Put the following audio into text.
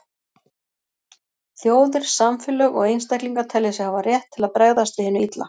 Þjóðir, samfélög og einstaklingar telja sig hafa rétt til að bregðast við hinu illa.